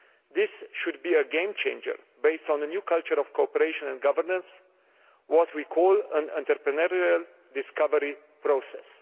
This should be a game changer based on a new culture of cooperation and governance what we call an entrepreneurial discovery process.